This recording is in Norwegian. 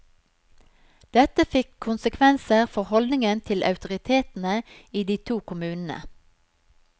Dette fikk konsekvenser for holdningen til autoritetene i de to kommunene.